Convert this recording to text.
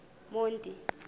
monti